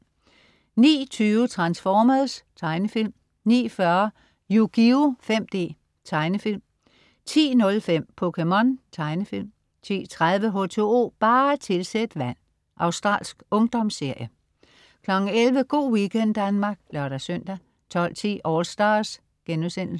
09.20 Transformers. Tegnefilm 09.40 Yugioh 5D. Tegnefilm 10.05 POKéMON. Tegnefilm 10.30 H2O bare tilsæt vand. Australsk ungdomsserie 11.00 Go' weekend Danmark (lør-søn) 12.10 AllStars*